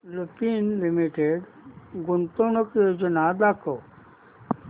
Lupin limited गुंतवणूक योजना दाखव